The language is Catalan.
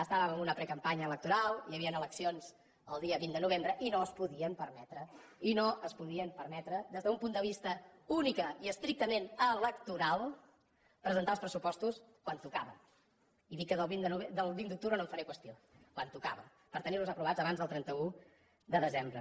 estàvem en una precampanya electoral hi havien eleccions el dia vint de novembre i no es podien permetre i no es podien permetre des d’un punt de vista únicament i estrictament electoralpressupostos quan tocava i he dit que del vint d’octubre no en faré qüestió quan tocava per tenir los aprovats abans del trenta un de desembre